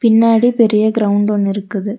பின்னாடி பெரிய கிரவுண்ட் ஒன்னு இருக்குது.